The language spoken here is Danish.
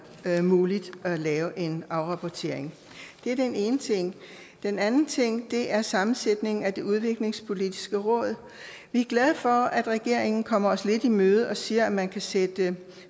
være muligt at lave en afrapportering det er den ene ting den anden ting er sammensætningen af udviklingspolitisk råd vi er glade for at regeringen kommer os lidt i møde og siger at man kan sætte